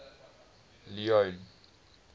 leone